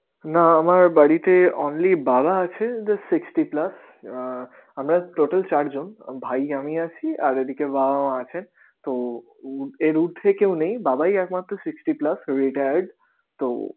না আমার বাড়িতে only বাবা আছে they sixty plus আহ আমরা চারজন ভাই, আমি আছি আর এদিকে বাবা, মা আছেতো উ~ এর উর্ধে কেউ নেই, বাবাই একমাত্র sixty plus retired তো